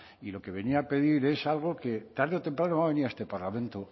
y lo que venía a pedir es algo que tarde o temprano va a venir a este parlamento